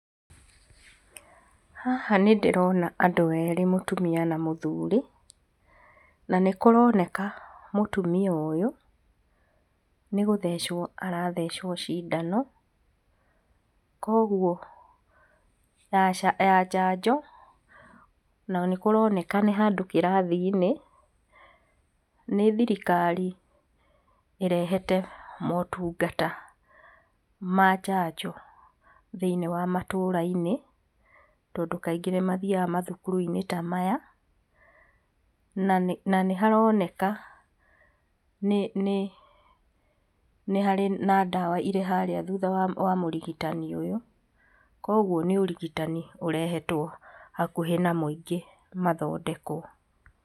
Haha nĩ ndĩrona andũ erĩ, mũtumia na mũthuri na nĩkũroneka mũtumia ũyũ nĩgũthecwo arathecwo cindano. Kwoguo ya njanjo na nĩkũronekana nĩ handũ kirathi inĩ. Nĩ thirikari ĩrehete motungata ma njanjo thĩiniĩ wa matũrainĩ tondũ kaingĩ nĩmathiaga mathukuru inĩ ta maya nanĩharoneka nĩ harĩ na ndawa thutha wa mũrigitani ũyũ .kwoguo nĩũrigitani ũrehetwo hakuhĩ na mũingĩ mathondekwo.